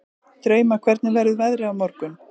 Drauma, hvernig verður veðrið á morgun?